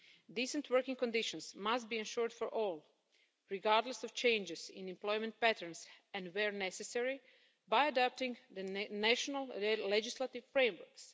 Decent working conditions must be ensured for all, regardless of changes in employment patterns and, where necessary, by adapting the national legislative frameworks.